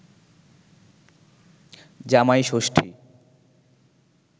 জামাই ষষ্ঠী